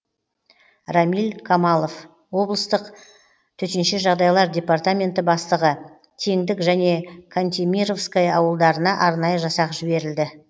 рамиль қамалов облыстық тжд бастығы теңдік және кантемировское ауылдарына арнайы жасақ жіберілді